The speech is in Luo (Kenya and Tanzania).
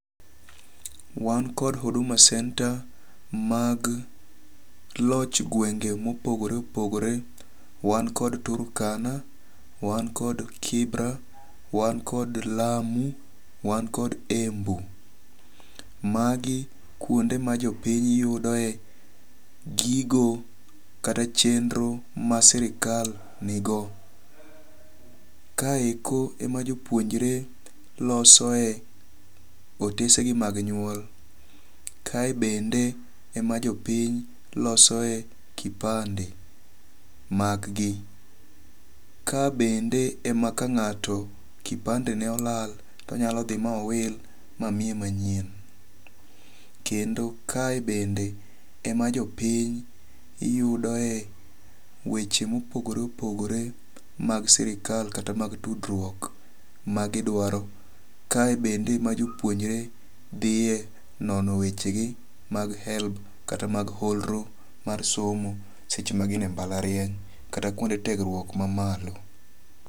Wan kod Huduma Center mag loch gwenge mopogore opogore. Wan kod Turkana. Wan kod Kibra. Wan kod Lamu. Wan kod Embu. Magi kuonde ma jopiny yudoe gigo kata chenro ma sirkal nigo. Ka eko e ma jopuonjre losoe otese gi mag nyuol. Kae bende e ma jopiny losoe kipande mag gi. Ka bende e ma ka ng'ato kipande ne olal to onyalo dhi ma owil ma miye manyien. Kendo kae bende ema jo piny yudoe weche mopogore opogore mag sirkal kata mag tudruok magidwaro. Kae bende ema jopuonjre dhiye nono weche gi mag HELB kata mag holro mar somo seche ma gin e mbalariany kata kuonde tiegruok ma malo.